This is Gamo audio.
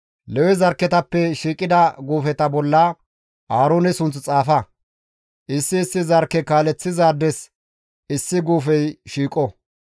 Lewe zarkketappe shiiqida guufeta bolla Aaroone sunth xaafa; issi issi zarkke kaaleththizaades issi guufey shiiqo.